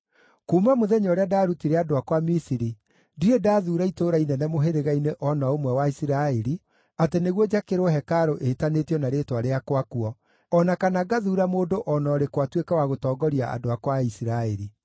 ‘Kuuma mũthenya ũrĩa ndaarutire andũ akwa Misiri, ndirĩ ndathuura itũũra inene mũhĩrĩga-inĩ o na ũmwe wa Isiraeli atĩ nĩguo njakĩrwo hekarũ ĩtanĩtio na Rĩĩtwa rĩakwa kuo, o na kana ngaathuura mũndũ o na ũrĩkũ atuĩke wa gũtongoria andũ akwa a Isiraeli.